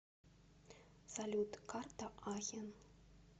салют карта ахен